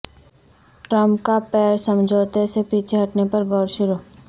Trump کا Paris سمجھوتے سے پیچھے ہٹنے پر غور شروع